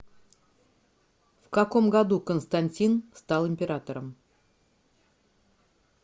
в каком году константин стал императором